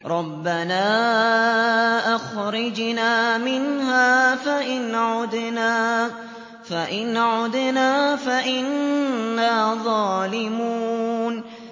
رَبَّنَا أَخْرِجْنَا مِنْهَا فَإِنْ عُدْنَا فَإِنَّا ظَالِمُونَ